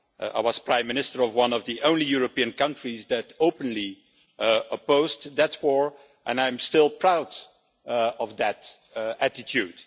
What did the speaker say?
I was Prime Minister of one of the only European countries that openly opposed that war, and I am still proud of that attitude.